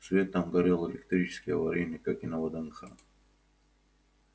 свет там горел электрический аварийный как и на вднх